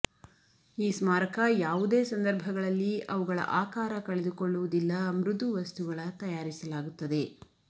ಈ ಸ್ಮಾರಕ ಯಾವುದೇ ಸಂದರ್ಭಗಳಲ್ಲಿ ಅವುಗಳ ಆಕಾರ ಕಳೆದುಕೊಳ್ಳುವುದಿಲ್ಲ ಮೃದು ವಸ್ತುಗಳ ತಯಾರಿಸಲಾಗುತ್ತದೆ